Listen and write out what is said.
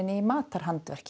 í